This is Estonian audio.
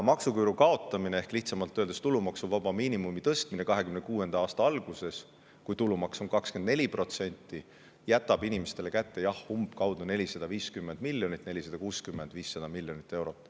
Maksuküüru kaotamine ehk lihtsamalt öeldes tulumaksuvaba miinimumi tõstmine 2026. aasta alguses, kui tulumaks on 24%, jätab inimestele kätte umbkaudu 450 miljonit 460–500 miljonit eurot.